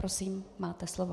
Prosím, máte slovo.